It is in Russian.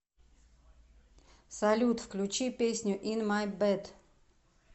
салют включи песню ин май бэд